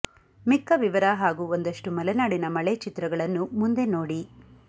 ಮಿಕ್ಕ ವಿವರ ಹಾಗೂ ಒಂದಷ್ಟು ಮಲೆನಾಡಿನ ಮಳೆ ಚಿತ್ರಗಳನ್ನು ಮುಂದೆ ನೋಡಿ